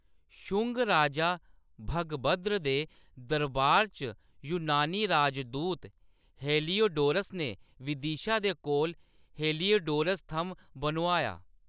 शुंग राजा भगभद्र दे दरबार च यूनानी राजदूत हेलियोडोरस ने विदिशा दे कोल हेलियोडोरस थ'म्म बनोआया।